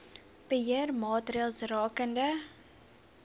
beheer maatreëls rakende